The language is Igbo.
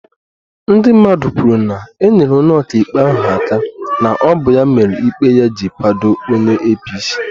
Ndị mmadụ kwuru na e nyere onye ọka ikpe ahụ aka na ọ bụ ya mere ikpe ya ji kwado onye apc